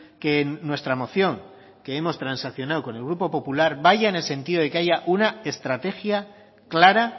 que nuestra moción que hemos transaccionado con el grupo popular vaya en el sentido de que haya una estrategia clara